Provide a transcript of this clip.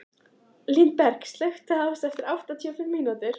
Lindberg, slökktu á þessu eftir áttatíu og fimm mínútur.